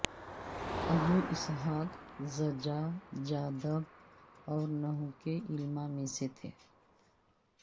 ابو اسحاق زجاجادب اور نحوکے علما میں سے تھے